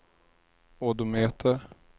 odometer